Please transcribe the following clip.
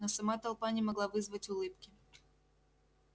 но сама толпа не могла вызвать улыбки